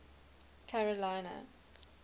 carolina